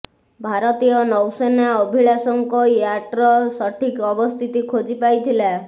ଭାରତୀୟ ନୌସେନା ଅଭିଳାଷଙ୍କ ୟାଟ୍ର ସଠିକ୍ ଅବସ୍ଥିତି ଖୋଜି ପାଇଥିଲା